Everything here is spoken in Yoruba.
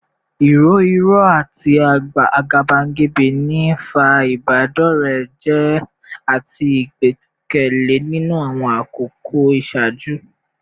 Irọ́ irọ́ àti àgàbàgebè ń fa ìbádọ́rẹ̀ẹ́ jẹ́ àti ìgbẹ́kẹ̀lé nínú àwọn àkókò ìṣáájú